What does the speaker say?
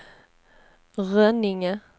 Rönninge